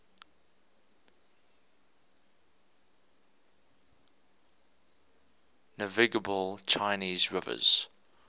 navigable chinese rivers